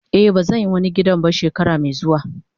Eh bazan yi wani gidan ba shekarar me zuwa.